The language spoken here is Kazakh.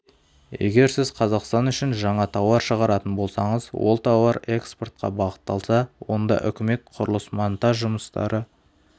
егер сіз қазақстан үшін жаңа тауар шығаратын болсаңыз ол тауар экспортқа бағытталса онда үкімет құрылыс-монтаж жұмыстары